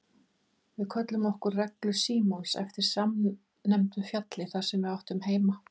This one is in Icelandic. Við kölluðum okkur Reglu Síons eftir samnefndu fjalli þar sem við áttum heima.